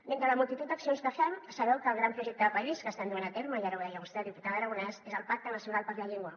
d’entre la multitud d’accions que fem sabeu que el gran projecte de país que estem duent a terme i ara ho deia vostè diputada aragonès és el pacte nacional per la llengua